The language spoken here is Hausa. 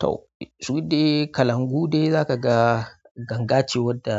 Toh shi dai kalangu dai zaka ga ganga ce wanda